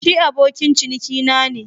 Shi abokin cinikina ne